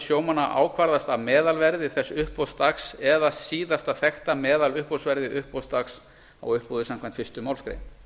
sjómanna ákvarðast af meðalverði þess uppboðsdags eða síðasta þekkta meðaluppboðsverði uppboðsdags á uppboði samkvæmt fyrstu málsgrein